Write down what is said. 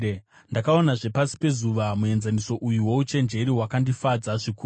Ndakaonazve pasi pezuva muenzaniso uyu wouchenjeri wakandifadza zvikuru: